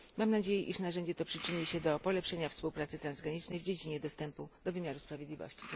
Mam nadzieję, że narzędzie to przyczyni się do polepszenia współpracy transgranicznej w dziedzinie dostępu do wymiaru sprawiedliwości.